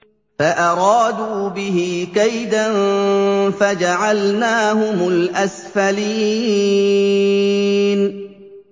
فَأَرَادُوا بِهِ كَيْدًا فَجَعَلْنَاهُمُ الْأَسْفَلِينَ